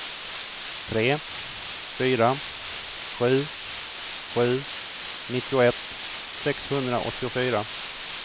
tre fyra sju sju nittioett sexhundraåttiofyra